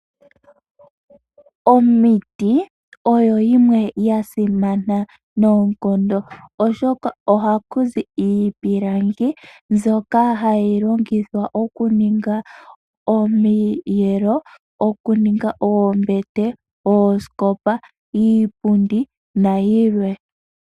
Omiti odho dhimwe dha simana noonkondo, oshoka ohaku zi iipilangi mbyoka hayi longithwa oku ninga omiyelo, oku ninga oombete, oosikopa, iipundi nayilwe.